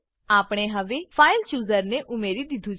આપણે હવે file chooser file chooser ને ઉમેરી દીધું છે